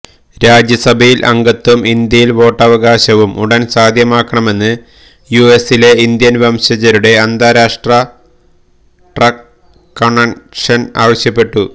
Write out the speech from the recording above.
രാജ്യസഭയില് അംഗത്വവും ഇന്ത്യയില് വോട്ടവകാശവും ഉടന് സാധ്യമാക്കണമെന്ന് യുഎസിലെ ഇന്ത്യന് വംശജരുടെ അന്താരാഷ് ട്ര കണ്വന്ഷന് ആവശ്യപ്പെട്ടു